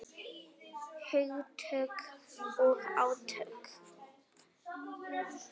Hugtök og átök.